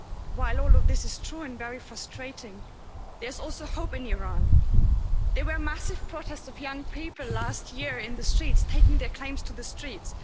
While all of this is true and very frustrating, there is also hope in Iran. There were massive protests of young people last year in the streets, taking their claims to the streets.